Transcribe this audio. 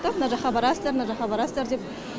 мына жаққа барасындар мына жаққа барастар деп